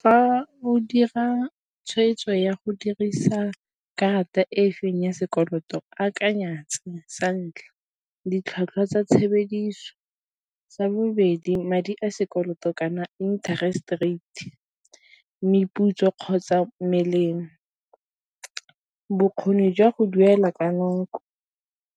Fa o dira tshwetso ya go dirisa karata e feng ya sekoloto, akanya tse santlha ditlhwatlhwa tsa tshebediso, sa bobedi madi a sekoloto kana interest rate, meputso kgotsa melemo, bokgoni jwa go duela ka nako,